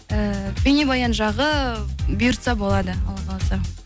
ііі бейнебаян жағы бұйыртса болады алла қаласа